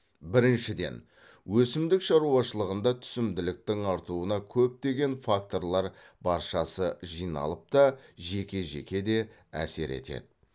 біріншіден өсімдік шаруашылығында түсімділіктің артуына көптеген факторлар баршасы жиналып та жеке жеке де әсер етеді